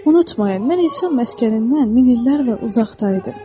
Unutmayın, mən insan məskənindən min illərlə uzaqda idim.